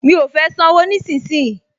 Mi ò fẹ́ sanwó nísinsìnyí